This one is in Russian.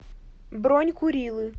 бронь курилы